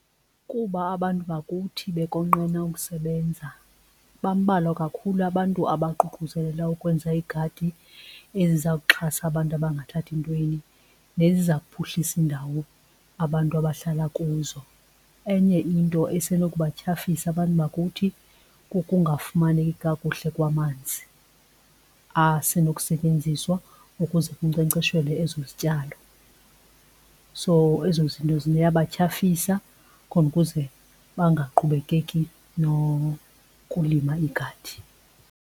Kuba abantu bakuthi bekonqena ukusebenza, bambalwa kakhulu abantu abaququzelela ukwenza igadi ezizawuxhasa abantu abangathathi ntweni neziza kuphuhlisa indawo abantu abahlala kuzo. Enye into isenokubatyhafisa abantu bakuthi kukungafumaneki kakuhle kwamanzi asenokusetyenziswa ukuze kunkcenkceshelwe ezo zityalo. So ezo zinto ziyabatyhafisa khona ukuze bangaqhubekeki nokulima igadi.